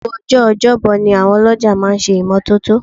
Gbogbo ọjọ́ ọjọ́bọ ni àwọn ọlọ́jà máa ń ṣe ìmọ́tótó